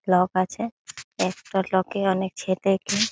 Block আছে। একটা block -এ অনেক ছেলেকে।